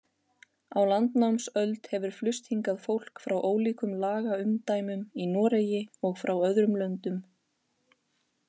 Á landnámsöld hefur flust hingað fólk frá ólíkum lagaumdæmum í Noregi og frá öðrum löndum.